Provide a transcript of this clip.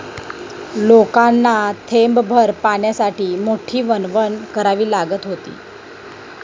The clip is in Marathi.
लोकांना थेंबभर पाण्यासाठी मोठी वणवण करावी लागत होती.